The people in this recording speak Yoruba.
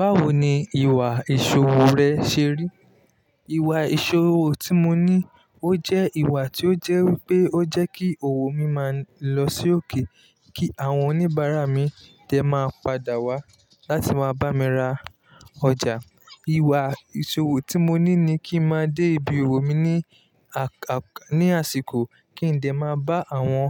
Báwo ni ìwà ìṣòro rẹ ṣe rí? Ìwà ìṣòro tí mo ní, ó jẹ́ ìwà tí ó jẹ́ pé ó jẹ́ kí òwò mi máa lọ sí òkè, kí àwọn oníbàárà mi tẹ máa padà wá láti máa bá mi ra ọjà. Ìwà ìṣòro tí mo ní ni kí n máa dé ibi òwò mi ní àsìkò, kí n dè máa bá àwọn